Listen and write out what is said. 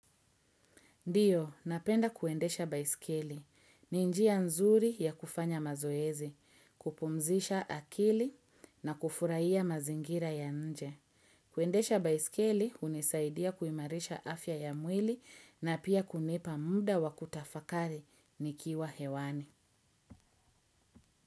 Ndiyo, napenda kuendesha baiskeli. Ni njia nzuri ya kufanya mazoezi, kupumzisha akili na kufurahia mazingira ya nje. Kuendesha baiskeli hunisaidia kuimarisha afya ya mwili na pia kunipa muda wa kutafakari nikiwa hewani.